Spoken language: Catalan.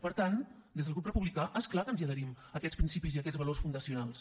per tant des del grup republicà és clar que ens hi adherim a aquests principis i a aquests valors fundacionals